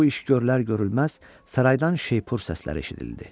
Bu iş görülər-görülməz saraydan şeypur səsləri eşidildi.